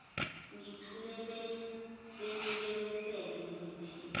ngithule benibelesele nithi